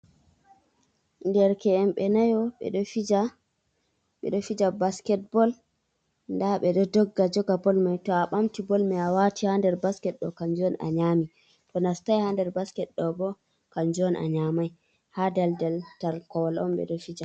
Derke’en ɓe nayo ɓe ɗo fija basketbal, nda ɓe ɗo dogga joga bol mai to a ɓamti bol mai a wati ha nder basket ɗo kanjum on a nyami, to nastai ha nder basket ɗo bo kanjum on a nyamai, ha daldal tar kowal on ɓe ɗo fija.